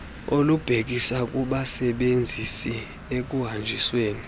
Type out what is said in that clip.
olubhekisa kubasebenzisi ekuhanjisweni